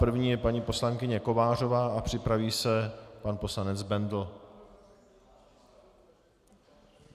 První je paní poslankyně Kovářová a připraví se pan poslanec Bendl.